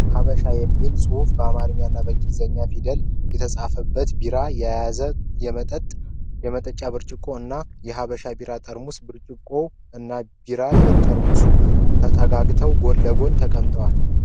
"ሐበሻ" የሚል ፅሁፍ በአማረኛና በእንግላዘኛ ፊደላት የተፃበት ቢራ የያዘ የመጠጫ ብርጭቆ እና የሐበሻ ቢራ ጠርሙስ። ብርጭቆዉ እና የቢራ ጠርሙሱ ተጠጋግተዉ ጎን ለግን ተቀምጠዋል።